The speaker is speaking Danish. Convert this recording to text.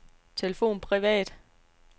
telefon privat